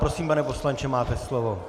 Prosím, pane poslanče, máte slovo.